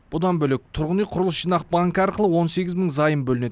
бұдан бөлек тұрғын үй құрылыс жинақ банкі арқылы он сегіз мың займ бөлінеді